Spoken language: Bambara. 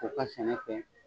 K'u ka sɛnɛ kɛ